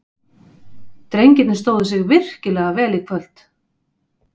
Drengirnir stóðu sig virkilega vel í kvöld.